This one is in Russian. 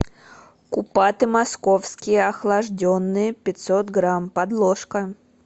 купаты московские охлажденные пятьсот грамм подложка